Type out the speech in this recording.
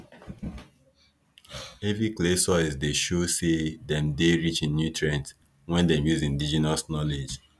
heavy clay soils dey show say dem dey rich in nutrient when dem use indigenous knowledge